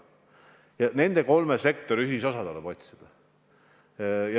Otsida tuleb nende kolme sektori ühisosa.